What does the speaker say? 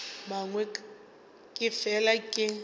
a mangwe ke fela ke